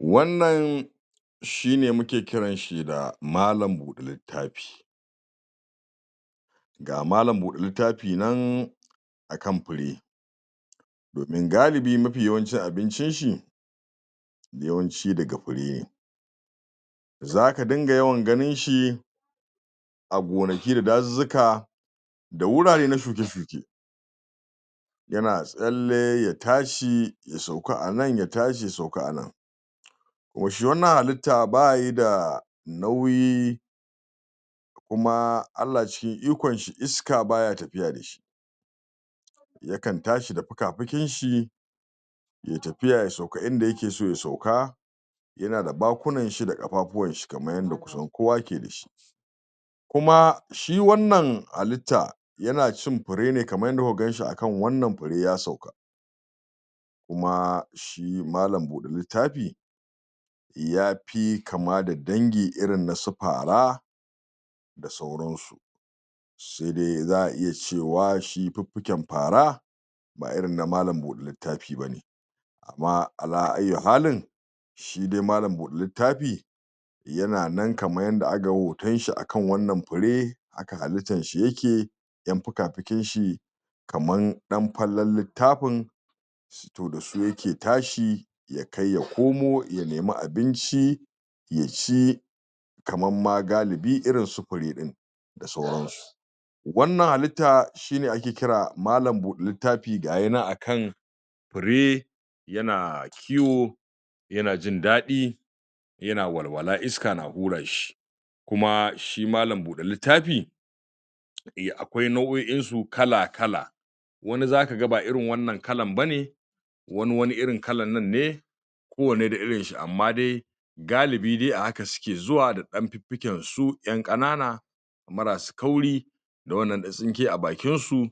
Wannan shine muke kiranshi da malam buɗe littafi ga malam buɗe littafi nan akan fure domin galibi mafi yawancin abincin shi yawanci daga fure ne zaka dinga yawan ganin shi a gonaki da dazuzzuka da wurare na shuke-shuke yana tsalle, ya tashi, ya sauka anan ya tashi, ya sauka anan yo shi wannan halitta bayi da nauyi kuma Allah cikin ikon shi, iska baya tafiya dashi yakan tashi da fuka-fikin shi yai tafiya, ya sauka inda yakeso ya sauka yana da bakunan shi da ƙafafuwan shi, kamar yanda kusan kowa yake dashi kuma, shi wannan halitta, yana cin fure ne, kamar yadda kuka ganshi akan wannan fure ya sauka kuma shi malam buɗe littafi yafi kama da dangi irin nasu fara da sauransu sai dai za a iya cewa shi fuffuken fara ba irin na malam buɗe littafi bane amma ,ala ayyu halin shi dai malam buɗe littafi yana nan kamar yanda akaga hoton shi akan wannan fure haka halittan shi yake ƴan fuka-fikin shi kaman ɗan fallen littafin to dasu yake tashi, ya kai ya komo, ya nemi abinci ya ci kaman ma galibi irin su fure ɗin da sauransu wannan halitta shine ake kira malam buɗe littafi, gaya nan akan fure yana kiwo yana jin daɗi yana walwala, iska na hura shi kuma shi malam buɗe littafi um akwai nau'o'in su kala-kala wani zakaga ba irin wannan kalan bane wani wani irin kalan nan ne kowanne da irin shi, amma dai galibi dai a haka suke zuwa da ɗan fiffiken su ƴan ƙanana maras kauri da wannan ɗan tsinke a bakinsu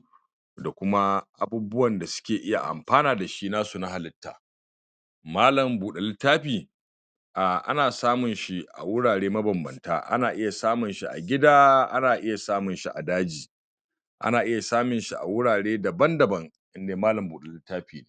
da kuma abubuwan da suke iya amfana dashi nasu na halitta malam buɗe littafi a ana samun shi a wurare mabanbanta, ana iya samun shi a gida, ana iya samun shi a daji ana iya samun shi a wurare daban-daban indai malam buɗe littafi ne